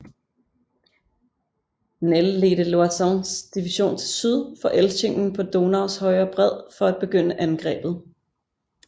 Ney ledte Loisons division til syd for Elchingen på Donaus højre bred for at begynde angrebet